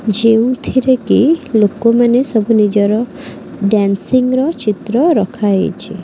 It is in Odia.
ଯେଉଁଥିରେ କି ଲୋକ ମାନେ ସବୁ ନିଜର ଡ଼ାନ୍ସିଂ ର ଚିତ୍ର ରଖାହେଇଛି।